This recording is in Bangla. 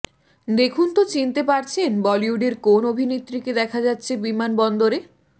দেখুনতো চিনতে পারছেন বলিউডের কোন অভিনেত্রীকে দেখা যাচ্ছে বিমানবন্দরে